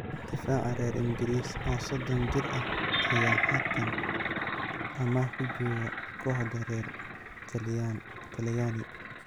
Daafaca reer ingris oo sodon jir ah ayaa haatan amaah ku jooga kooxda reer Talyani .